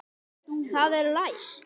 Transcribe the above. Það er læst!